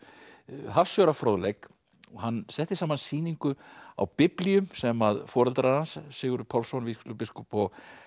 hafsjór af fróðleik hann setti saman sýningu á biblíum sem foreldrar hans Sigurður Pálsson vígslubiskup og